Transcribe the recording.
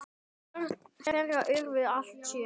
Börn þeirra urðu alls sjö.